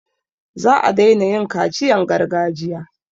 Za a daina yin kaciyan gargajiya.